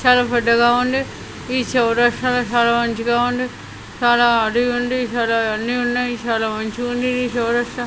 చాలా పెద్దగా ఉంది ఈ చౌరస్తాలో చాలా మంచిగా ఉంది చాలా ఉంది ఈసారి అన్నీ ఉన్నాయ్ ఈసారి మంచిగుంధీ ఈ చౌరస్తా.